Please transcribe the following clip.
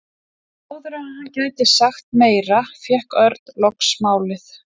En áður en hann gæti sagt meira fékk Örn loks málið.